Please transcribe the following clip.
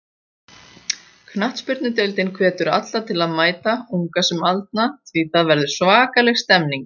Knattspyrnudeildin hvetur alla til að mæta, unga sem aldna því það verður svakaleg stemning.